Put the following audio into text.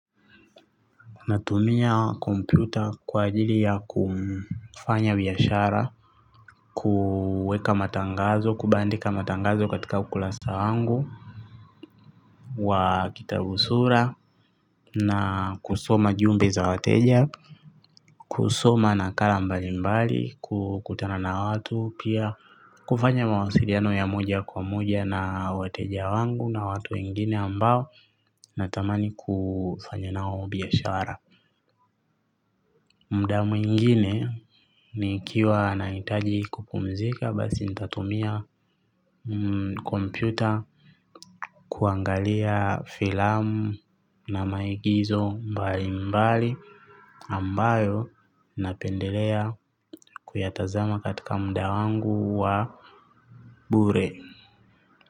Natumia kompyuta kwa ajili ya kufanya biashara, kuweka matangazo, kubandika matangazo katika ukurasa wangu, wa kitabu sura, na kusoma ujumbe za wateja, kusoma nakala mbalimbali, kutana na watu pia kufanya mawasiliano ya moja kwa moja na wateja wangu na watu wengine ambao natamani kufanya nao biashara. Muda mwingine nikiwa nahitaji kupumzika basi nitatumia kompyuta kuangalia filamu na maigizo mbali mbali ambayo napendelea kuyatazama katika muda wangu wa bure.